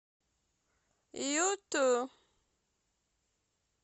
юту